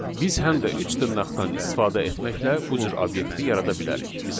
Biz həm də üç dırnaqdan istifadə etməklə bu cür obyekti yarada bilərik.